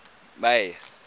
may